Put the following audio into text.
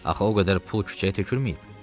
Axı o qədər pul küçəyə tökülməyib.